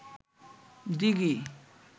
দিঘি